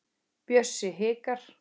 Bjössi hikar.